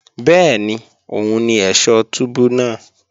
Bẹ́ẹ̀ni òun ni ẹ̀ṣọ̀ túbú náà